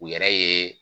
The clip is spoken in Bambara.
U yɛrɛ ye